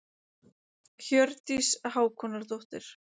Hjördís Hákonardóttir.